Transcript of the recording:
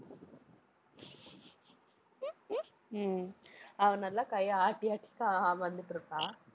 உம் அவ நல்லா கையை ஆட்டி, ஆட்டி கா~ வந்துட்டுருப்பா